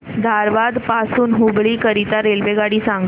धारवाड पासून हुबळी करीता रेल्वेगाडी सांगा